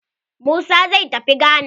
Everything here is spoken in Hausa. Musa zai tafi gana.